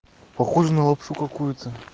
похоже на лапшу какую-то